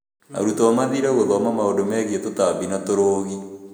Arutuo mathire gũthoma maũndũ megiĩ tũtabi na tũrũgi